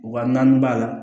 Wa naani b'a la